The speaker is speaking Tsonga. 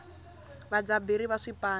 vadyaberi va swipano